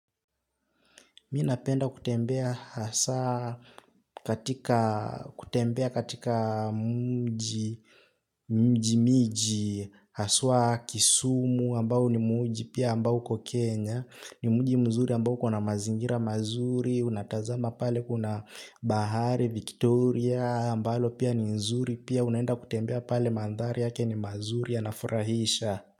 Minapenda kutembea hasa kutembea katika mji mji miji haswa kisumu ambao ni mji pia ambao ukokenya ni mji mzuri ambao ukona mazingira mazuri unatazama pale kuna bahari Victoria ambalo pia ni zuri pia unaenda kutembea pale mandhari yake ni mazuri ya nafurahisha.